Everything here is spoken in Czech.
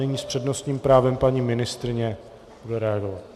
Nyní s přednostním právem paní ministryně bude reagovat.